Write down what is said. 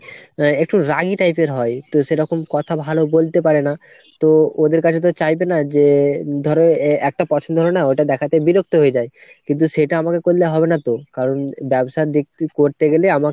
একটু রাগি type এর হয় তো সেরকম কথা ভালো বলতে পারেনা। তো ওদের কাছে তো চাইবেনা যে ধরো একটা পছন্দ হলোনা ওইটা দেখাতে বিরক্ত হয়ে যায়। কিন্তু সেটা আমাকে করলে হবে না তো। কারণ ব্যবসার দিক করতে গেলে আমাকে